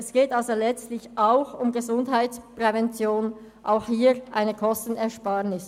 Es geht letztlich auch um Gesundheitsprävention und somit um eine Kostenersparnis.